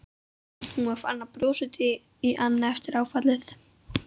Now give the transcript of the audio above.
Hún var farin að brosa út í annað eftir áfallið.